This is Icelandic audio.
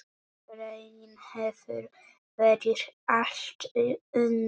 Raunin hefur verið allt önnur.